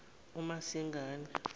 umasingane